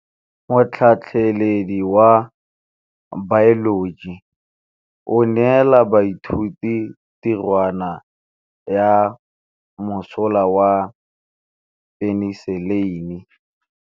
Motlhatlhaledi wa baeloji o neela baithuti tirwana ya mosola wa peniselene.